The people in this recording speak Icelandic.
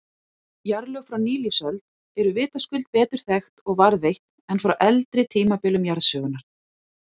Jarðlög frá nýlífsöld eru vitaskuld betur þekkt og varðveitt en frá eldri tímabilum jarðsögunnar.